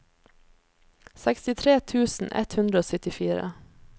sekstitre tusen ett hundre og syttifire